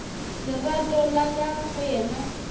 lerato la ka go yena